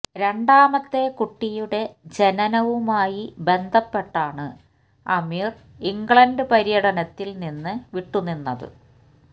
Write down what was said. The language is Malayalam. രണ്ടാമത്തെ കുട്ടിയുടെ ജനനവുമായി ബന്ധപ്പെട്ടാണ് അമീര് ഇംഗ്ലണ്ട് പര്യടനത്തില് നിന്ന് വിട്ടുനിന്നത്